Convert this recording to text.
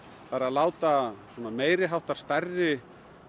það er að láta meiri háttar stærri